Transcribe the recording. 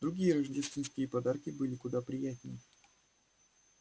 другие рождественские подарки были куда приятнее